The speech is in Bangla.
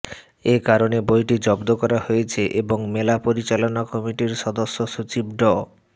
এ কারণে বইটি জব্দ করা হয়েছে এবং মেলা পরিচালনা কমিটির সদস্য সচিব ড